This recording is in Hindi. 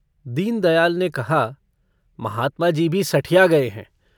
दीनदयाल ने कहा - महात्माजी भी सठिया गये हैं।